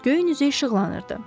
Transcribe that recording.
Göyün üzü işıqlanırdı.